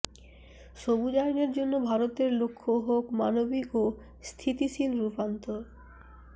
সবুজায়নের জন্য ভারতের লক্ষ্য হোক মানবিক ও স্থিতিশীল রূপান্তর